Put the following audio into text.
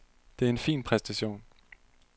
Det er en fin præstation.